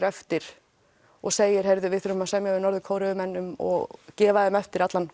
eftir og segir heyrðu við verðum að semja við Norður Kóreumenn og gefa þeim eftir allan